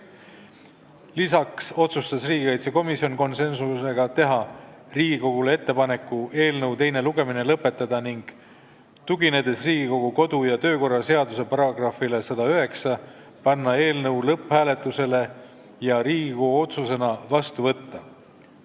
Lisaks otsustas komisjon konsensusega teha ettepaneku eelnõu teine lugemine lõpetada ning tuginedes Riigikogu kodu- ja töökorra seaduse §-le 109, panna eelnõu lõpphääletusele ja Riigikogu otsusena vastu võtta.